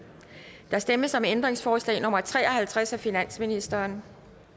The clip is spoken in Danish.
der stemmes om ændringsforslag nummer tre og halvtreds af finansministeren